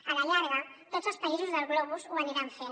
a la llarga tots els països del globus ho aniran fent